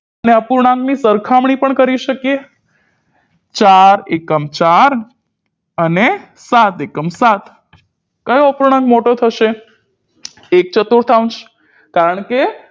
ણે અપૂર્ણાંક ની સરખામણી પણ કરી શકીએ ચાર એકમ ચાર અને સાત એકમ સાત કયો અપૂર્ણાંક મોટો થશે એક ચતુર્થાઉન્સ કારણકે